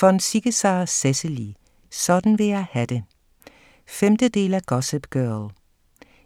Von Ziegesar, Cecily: Sådan vil jeg ha' det 5. del af Gossip girl.